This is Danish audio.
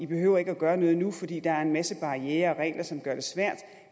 behøver at gøre noget nu fordi der er en masse barrierer og regler som gør det svært